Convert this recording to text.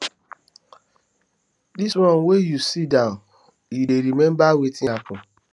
dis one wey you sit down you dey remember wetin happen